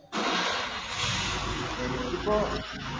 എനിക്കിപ്പോ